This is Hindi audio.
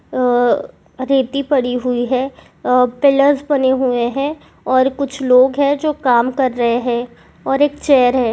ह रेती पड़ी हुए है पिल्स बनी हुए हैं और कुछ लोग है जो काम कर रहे है और एक चेयर है।